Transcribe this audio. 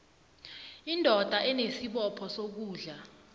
indoda inesibopho sokondla